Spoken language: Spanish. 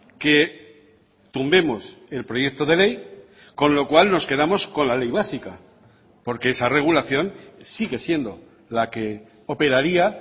que tumbemos el proyecto de ley con lo cual nos quedamos con la ley básica porque esa regulación sigue siendo la que operaria